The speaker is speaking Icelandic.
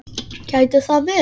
Gæti það verið?